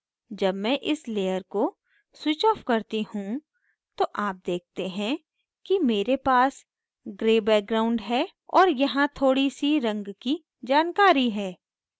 जब मैं इस layer को switch of करती हूँ तो आप देखते हैं कि मेरे पास gray background है और यहाँ थोड़ी see रंग की जानकारी है